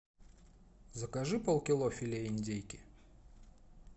закажи полкило филе индейки